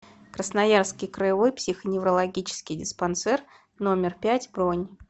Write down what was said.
красноярский краевой психоневрологический диспансер номер пять бронь